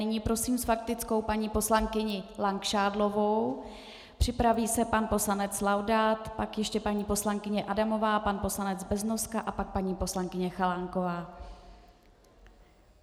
Nyní prosím s faktickou paní poslankyni Langšádlovou, připraví se pan poslanec Laudát, pak ještě paní poslankyně Adamová, pan poslanec Beznoska a pak paní poslankyně Chalánková.